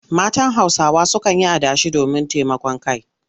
Matan Hausawa sukan yi adashi domin taimakon kai.